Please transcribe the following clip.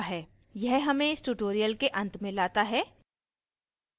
यह हमें इस tutorial के अंत में लाता है